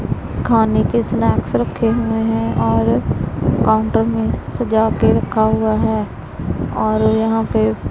खाने के स्नैक्स रखे हुए हैं और काउंटर में सजा के रखा हुआ है और यहां पे--